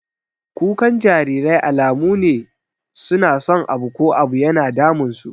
Kukan jarirai alamu ne su na son abu ko abu yana damun su.